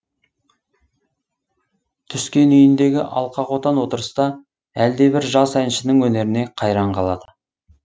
түскен үйіндегі алқа қотан отырыста әлдебір жас әншінің өнеріне қайран қалады